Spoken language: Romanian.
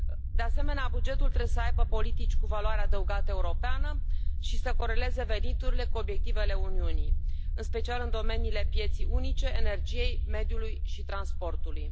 De asemenea, bugetul trebuie să aibă politici cu valoare adăugată europeană și să coreleze veniturile cu obiectivele Uniunii, în special în domeniile pieței unice, energiei, mediului și transportului.